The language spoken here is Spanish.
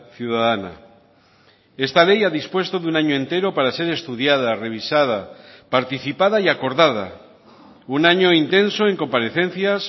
ciudadana esta ley ha dispuesto de un año entero para ser estudiada revisada participada y acordada un año intenso en comparecencias